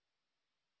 file টি save করুন